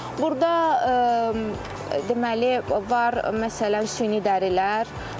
Burda deməli, var məsələn, süni dərilər.